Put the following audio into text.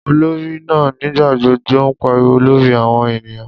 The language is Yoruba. Olori naa nigbagbogbo n pariwo lori awọn eniyan.